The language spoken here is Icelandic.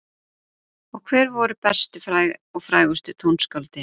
Og hver voru bestu og frægustu tónskáldin?